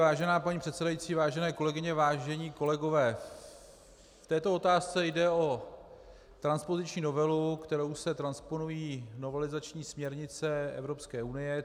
Vážená paní předsedající, vážené kolegyně, vážení kolegové, v této otázce jde o transpoziční novelu, kterou se transponují novelizační směrnice Evropské unie.